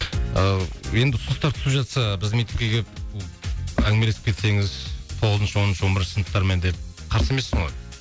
ыыы енді ұсыныстар түсіп жатса біздің мектепке келіп әңгімелесіп кетсеңіз тоғызыншы оныншы он бірінші сыныптармен деп қарсы емессің ғой